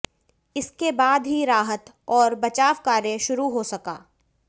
इसके बाद ही राहत और बचाव कार्य शुरु हो सका